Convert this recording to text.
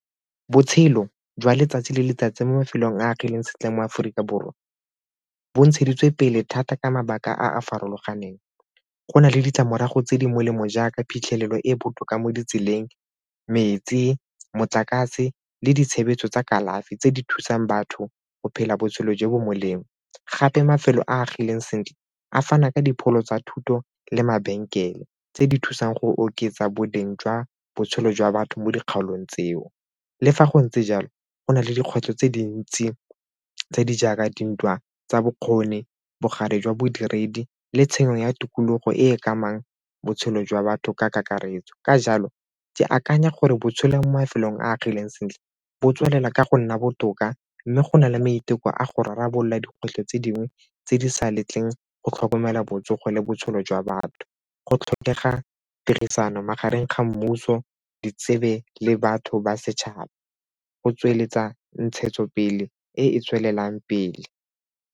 Botshelo jwa letsatsi le letsatsi mo mafelong a a sentle mo Aforika Borwa bo ntsheditswe pele thata ka mabaka a a farologaneng. Go na le ditlamorago tse di molemo jaaka phitlhelelo e e botoka mo ditseleng metsi motlakase le ditshebeletso tsa kalafi tse di thusang batho go phela botshelo jo bo molemo gape mafelo a agileng sentle a fana ka dipholo tsa thuto le mabenkele tse di thusang go oketsa boleng jwa botshelo jwa batho mo dikgaolong tseo. Le fa go ntse jalo, go na le dikgwetlho tse dintsi tse di jaaka dintwa tsa bokgoni, bogale jwa bodiredi le tshenyo ya tikologo e e ka amang botshelo jwa batho ka kakaretso. Ka jalo, ke akanya gore bo tshela mo mafelong a agileng sentle bo tswelela ka go nna botoka mme go na le maiteko a go rarabolola dikgwetlho tse dingwe tse di sa letlang go tlhokomela botsogo le botshelo batho go tlhokega tirisano magareng ga mmuso, di tsebe le batho ba setšhaba go tsweletsa ntshetsopele e e tswelelang pele.